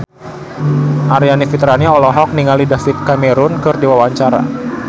Aryani Fitriana olohok ningali David Cameron keur diwawancara